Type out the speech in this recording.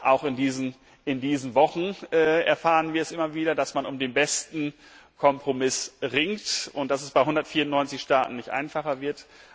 Auch in diesen Wochen erfahren wir es immer wieder, dass man um den besten Kompromiss ringt und dass das bei 194 Staaten nicht einfacher wird.